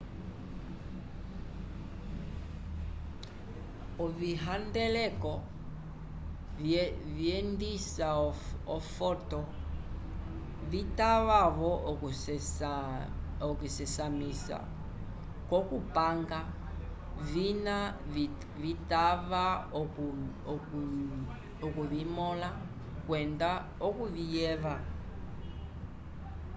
ovihandeleko vyendisa ofoto vitava-vo okuvisesamisa k'okupanga vina vitava okuvimõla kwenda okuviyeva